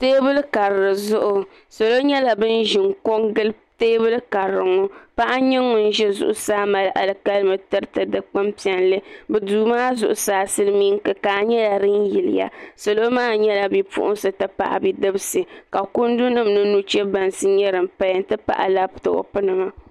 Teebuli karili zuɣu salo nyɛla bin ʒini ko n gili teebuli karili ŋo paɣa n nyɛ ŋun ʒi zuɣusaa mali alikalimi tiriti dikpuni piɛlli duu maa zuɣusaa silmiin kikaa nyɛla din yiliya salo maa nyɛla bipuɣunsi ti pahi bidibsi ka kundi nim mini nuchɛ bansi nyɛ din paya n ti pahi labtop nima